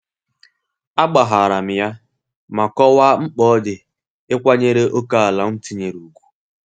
A gbaharam ya ma kọwaa mkpa odi ịkwanyere ókèala m tinyere ùgwù